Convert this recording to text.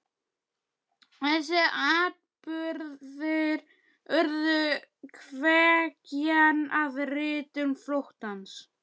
Þessir atburðir urðu kveikjan að ritun Flóttans.